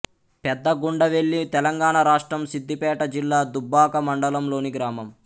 పెద్ద గుండవెల్లి తెలంగాణ రాష్ట్రం సిద్ధిపేట జిల్లా దుబ్బాక మండలంలోని గ్రామం